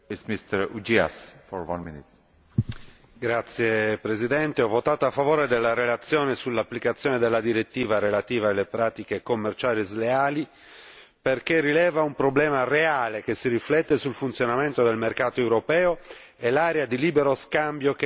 Signor Presidente, ho votato a favore della relazione sull'applicazione della direttiva relativa alle pratiche commerciali sleali perché rileva un problema reale, che si riflette sul funzionamento del mercato europeo e l'area di libero scambio che intendiamo creare.